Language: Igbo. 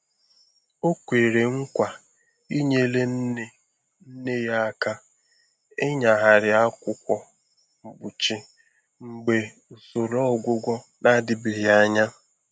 O kwere nkwa inyere nne nne ya aka ịnyagharị akwụkwọ mkpuchi mgbe usoro ọgwụgwọ na-adịbeghị anya.